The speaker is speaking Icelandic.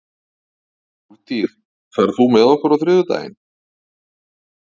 Úlftýr, ferð þú með okkur á þriðjudaginn?